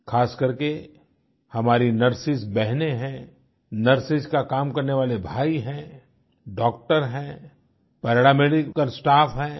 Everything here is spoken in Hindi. ख़ासकर के हमारी नर्सेज बहनें हैं नर्सेज का काम करने वाले भाई हैं डॉक्टर हैं पैरामेडिकल स्टाफ हैं